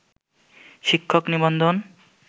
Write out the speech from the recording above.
শিক্ষক নিবন্ধন